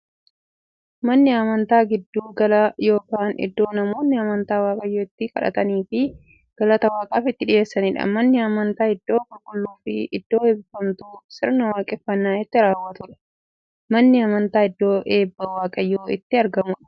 Manni amantaa giddu gala yookiin iddoo namoonni amantaa waaqayyoon itti kadhataniifii galata waaqaaf itti dhiyeessaniidha. Manni amantaa iddoo qulqulluufi iddoo eebbifamtuu, sirna waaqeffannaa itti raawwatuudha. Manni amantaa iddoo eebbi waaqayyoo itti argamuudha.